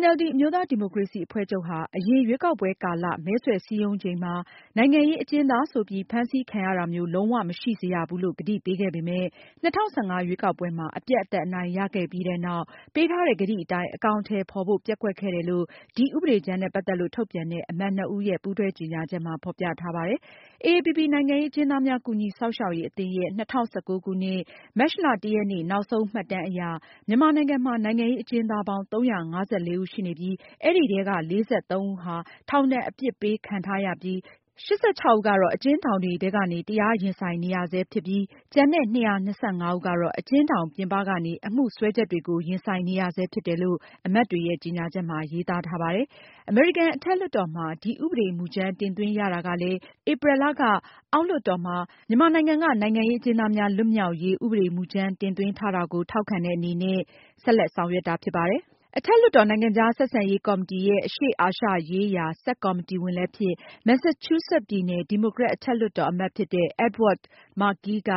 NLD အမျိုးသား ဒီမိုကရေစီအဖွဲ့ချုပ် ဟာ အရင်ရွေးကောက်ပွဲကာလ မဲဆွယ်စည်းရုံးချိန်မှာ နိုင်ငံရေးအကျဉ်းသားဆိုပြီး ဖမ်းဆီးခံရတာမျိုး လုံးဝမရှိစေရဘူးလို့ ကတိပေးခဲ့ပေမဲ့ ၂၀၁၅ ရွေးကောက်ပွဲမှာ အပြတ်အသတ်အနိုင်ရပြီးတဲ့နောက် ပေးထားတဲ့ ကတိအတိုင်း အကောင်အထည်ဖေါ်ဖို့ ပျက်ကွက်ခဲ့တယ်လို့ ဒီဥပဒေကြမ်းနဲ့ ပတ်သက်လို့ ထုတ်ပြန်တဲ့ အမတ်နှစ်ဦးရဲ့ ပူးတွဲကြေညာချက်မှာ ဖေါ်ပြထားပါတယ်။ AAPP နိုင်ငံရေးအကျဉ်းသားများကူညီစောင့်ရှောက်ရေးအသင်းရဲ့ ၂၀၁၉ ခုနှစ် မတ်လ ၁ ရက်နေ့ နောက်ဆုံးမှတ်တမ်းအရ မြန်မာနိုင်ငံမှာ နိုင်ငံရေးအကျဉ်းသားပေါင်း ၃၅၄ ဦးရှိနေပြီး အဲဒီထဲက ၄၃ ဦးဟာ ထောင်ဒဏ် အပြစ်ပေးခံထားရပြီး၊ ၈၆ ဦးကတော့ အကျဉ်းထောင်တွေထဲကနေ တရားရင်ဆိုင် နေရဆဲဖြစ်ပြီး ကျန်တဲ့ ၂၂၅ ဦးကတော့ အကျဉ်းထောင်ပြင်ပကနေ အမှုစွပ်စွဲချက်တွေကို ရင်ဆိုင်နေရဆဲ ဖြစ်တယ်လို့ အမတ်တွေရဲ့ ကြေညာချက်မှာ ရေးသားထားပါတယ်။ အမေရိကန်အထက်လွှတ်တော်မှာ ဒီဥပဒေမူကြမ်းတင်သွင်းရတာကလည်း ဧပြီလက အောက်လွှတ်တော်မှာ မြန်မာနိုင်ငံက နိုင်ငံရေးအကျဉ်းသားတွေ လွတ်မြောက်ရေး ဥပဒေမူကြမ်းတင်သွင်းထားတာကို ထောက်ခံတဲ့အနေနဲ့ အထက်လွှတ်တော်အမတ်တွေက ဆက်လက်ဆောင်ရွက်တာဖြစ်ပါတယ်။ အထက်လွှတ်တော် နိုင်ငံခြားဆက်ဆံရေးကော်မတီရဲ့ အရှေ့အာရှရေးရာ ဆပ်ကော်မတီဝင် လည်းဖြစ်၊ Massachusetts ပြည်နယ် ဒီမိုကရက်အထက်လွှတ်တော်အမတ်ဖြစ်တဲ့ Edward Markey က